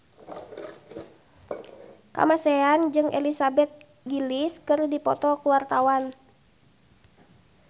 Kamasean jeung Elizabeth Gillies keur dipoto ku wartawan